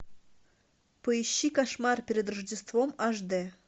поищи кошмар перед рождеством аш дэ